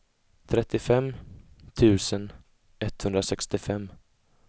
trettiofem tusen etthundrasextiofem